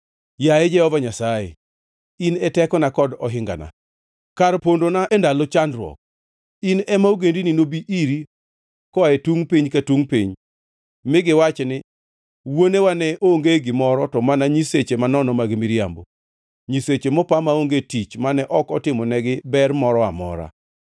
Yaye Jehova Nyasaye, in e tekona kod ohingana, kar pondona e ndalo chandruok, in ema ogendini nobi iri koa e tungʼ piny ka tungʼ piny mi giwachi ni, “Wuonewa ne onge gimoro to mana nyiseche manono mag miriambo, nyiseche mopa maonge tich mane ok otimonegi ber moro amora.